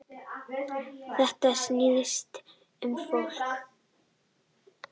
Þetta snýst um fólk